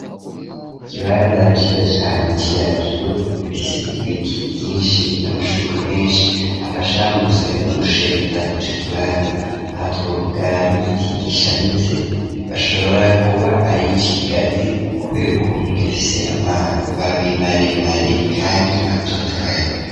Ikibanza ciza cane ciratiro gifise ibiti vyinshi n'amashugwe menshi afasha mu gushariza ico kibanza ahatubavuga nk'igiti gishamitse bashobora kuba arico kigazi kubera ukuntu gifise amababi maremare kandi atotahaye.